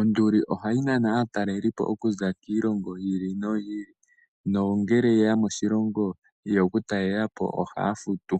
Onduli ohayi nana aatalelipo okuza kiilongo yi ili noyo ili nongele yeya moshilongo yeya okutalela po ohaya futu.